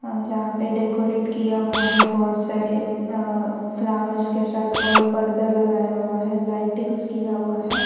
और यहां पे डेकोरेट किया हुआ है बहुत सारे अह फ्लावर्स के साथ और पर्दा लगाया हुआ है लाइटिंगस् किया हुआ है।